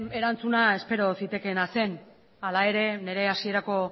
erantzun espero zitekeena zen hala ere nire hasierako